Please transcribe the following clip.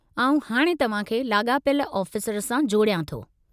आउं हाणे तव्हां खे लाॻापियल आफ़ीसर सां जोड़ियां थो।